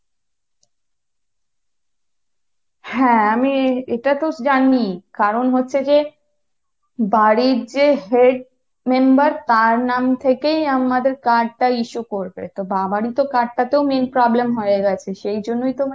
হ্যাঁ আমি এটা তো জানি কারণ হচ্ছে যে বাড়ির যে head member তার নাম থেকেই আমাদের card টা issue করবে, তো বাবারই তো card টাতে main problem হয়ে গেছে সেই জন্যই তো মানে